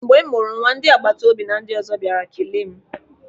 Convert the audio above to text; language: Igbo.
Mgbe m mụrụ nwa ndị agbata obi na ndị ọzọ bịara kelee m.